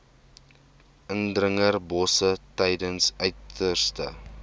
indringerbosse tydens uiterste